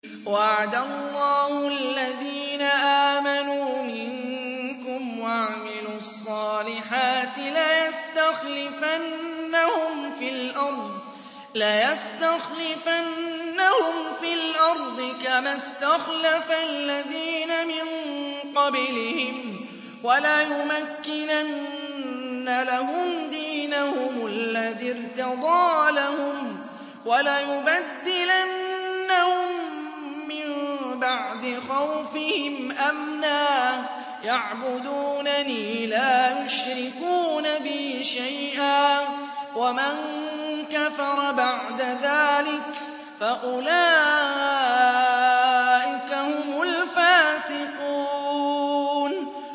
وَعَدَ اللَّهُ الَّذِينَ آمَنُوا مِنكُمْ وَعَمِلُوا الصَّالِحَاتِ لَيَسْتَخْلِفَنَّهُمْ فِي الْأَرْضِ كَمَا اسْتَخْلَفَ الَّذِينَ مِن قَبْلِهِمْ وَلَيُمَكِّنَنَّ لَهُمْ دِينَهُمُ الَّذِي ارْتَضَىٰ لَهُمْ وَلَيُبَدِّلَنَّهُم مِّن بَعْدِ خَوْفِهِمْ أَمْنًا ۚ يَعْبُدُونَنِي لَا يُشْرِكُونَ بِي شَيْئًا ۚ وَمَن كَفَرَ بَعْدَ ذَٰلِكَ فَأُولَٰئِكَ هُمُ الْفَاسِقُونَ